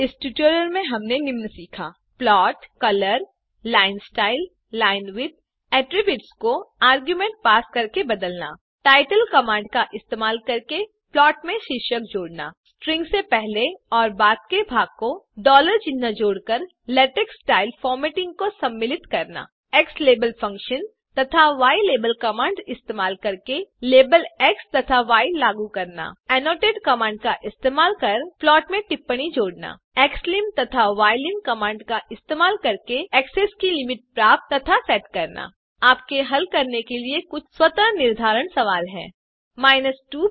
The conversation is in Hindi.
इस ट्यूटोरियल में हमने निम्न सीखा प्लॉट कलर लाइन styleलाइनविड्थ आट्रिब्यूट्स को आर्ग्युमेंट पास करते हुए बदलना टाइटल कमांड का इस्तेमाल करके प्लॉट में शीर्षक जोडना स्ट्रिंग से पहले और बाद के भाग को डॉलर चिन्ह जोड़ते हुए लेटेक्स स्टाइल फॉरमॅटिंग को सम्मिलित करना xlabelfunction तथा ylabel कमांड्स इस्तेमाल करके लाबेल एक्स तथा य लागू करना फिर annotate कमांड इस्तेमाल करके प्लॉट मेंटिप्पणी जोड़ना xlim तथा ylim कमांड्स इस्तेमाल करके एक्सेस के लिमिट्स प्राप्त तथा सेट करना यहाँ आपके हल करने के लिए कुछ स्वतः निर्धारण सवाल हैं 1